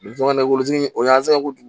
Caman na woso o y'an sɛgɛn kojugu